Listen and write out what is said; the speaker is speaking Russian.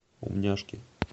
умняшки